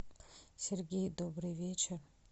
сергей добрый вечер